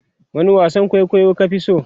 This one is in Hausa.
wani wasan kwaikwayo ka Fi so?